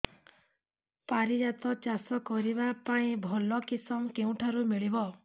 ପାରିଜାତ ଚାଷ କରିବା ପାଇଁ ଭଲ କିଶମ କେଉଁଠାରୁ ମିଳିବ